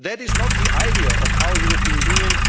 stopped. That is not the idea of our European